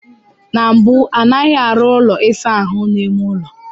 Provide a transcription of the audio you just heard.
Na mbụ, anaghị arụ ụlọ ịsa ahụ n'ime ụlọ.